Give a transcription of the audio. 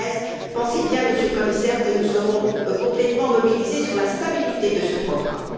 2013. Pensez bien, Monsieur le Commissaire, que nous serons entièrement mobilisés sur la stabilité de ce programme.